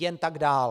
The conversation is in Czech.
Jen tak dál!